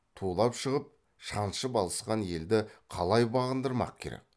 тулап шығып шаншып алысқан елді қалай бағындырмақ керек